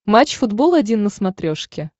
матч футбол один на смотрешке